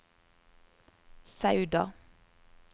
Sauda